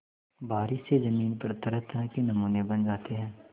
बारिश से ज़मीन पर तरहतरह के नमूने बन जाते हैं